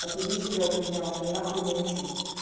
отьебись уже от меня он мне нахуй не нужен